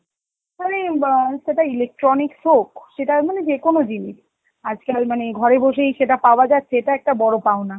সেটা electronics হোক সেটা মানে যে কোন জিনিস, আজকাল মানে ঘরে বসেই সেটা পাওয়া যাচ্ছে এটা একটা বড় পাওনা.